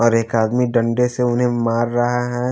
और एक आदमी डंडे से उन्हें मार रहा है।